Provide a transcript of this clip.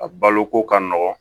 A baloko ka nɔgɔn